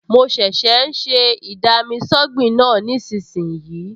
Mo ṣẹ̀ṣẹ̀ ń ṣe ì-dami-sọ́gbìn náà nísinsìnyí